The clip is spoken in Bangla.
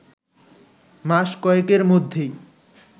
মাস কয়েকের মধ্যেই